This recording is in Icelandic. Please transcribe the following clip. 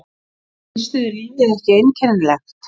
Finnst yður lífið ekki einkennilegt?